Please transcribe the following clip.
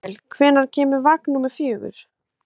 Marel, hvenær kemur vagn númer fjögur?